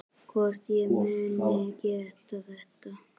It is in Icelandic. Hvort ég muni geta þetta.